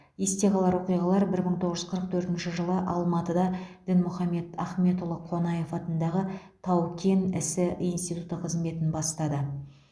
есте қалар оқиғалар бір мың тоғыз жүз қырық төртінші жылы алматыда дінмұхамед ахметұлы қонаев атындағы тау кен ісі институты қызметін бастады